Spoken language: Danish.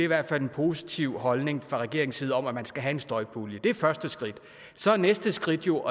i hvert fald en positiv holdning fra regeringens side om at man skal have en støjpulje det er første skridt så er næste skridt jo